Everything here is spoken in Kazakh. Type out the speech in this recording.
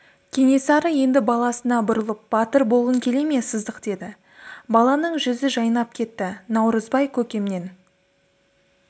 кенесары енді баласына бұрылып батыр болғың келе ме сыздық деді баланың жүзі жайнап кетті наурызбай көкемнен